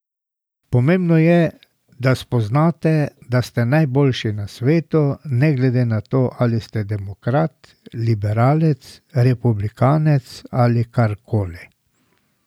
Pomembno je, da spoznate, da ste najboljši na svetu, ne glede na to ali ste demokrat, liberalec, republikanec ali karkoli.